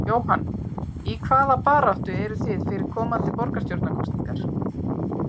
Jóhann: Í hvaða baráttu eruð þið fyrir komandi borgarstjórnarkosningar?